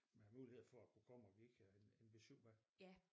Med mulighed for at kunne komme og give en besyv med